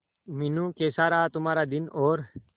मीनू कैसा रहा तुम्हारा दिन और